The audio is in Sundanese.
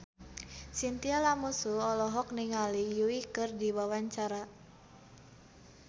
Chintya Lamusu olohok ningali Yui keur diwawancara